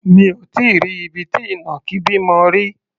Mi ò tí í rí ibi tí ìnàkí bímọ rí.